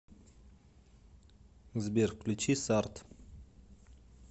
сбер включи сард